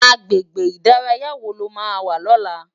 Agbégbé idàráyá wó ló má wà lòlá?